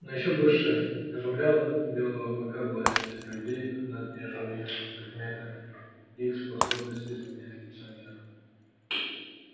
но ещё больше изумляла белого клыка власть людей над неживыми предметами их способность изменять лицо мира